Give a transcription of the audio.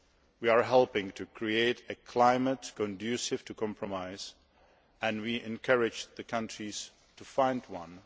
We are helping to create a climate conducive to compromise, and we are encouraging the countries to find one.